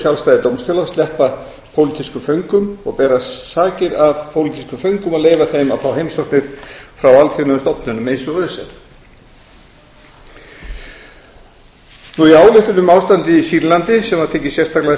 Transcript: sjálfstæði dómstóla að sleppa pólitískum föngum og bera sakir af pólitískum föngum og leyfa þeim að fá heimsóknir frá alþjóðlegum stofnunum eins og öse í ályktun um ástandið í sýrlandi sem var ekið sérstaklega